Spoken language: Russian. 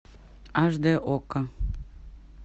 аш дэ окко